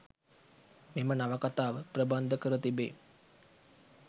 මෙම නවකතාව ප්‍රබන්ධ කර තිබෙයි.